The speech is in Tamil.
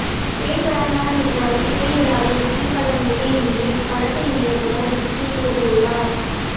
பேய்ப் படம்தான் என்றாலும் பேய் இல்லாத திகில் படம் இது என்று இப்படத்தின் இயக்குனர் விக்கி கூறியுள்ளார்